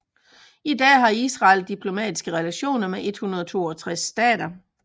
I dag har Israel diplomatiske relationer med 162 stater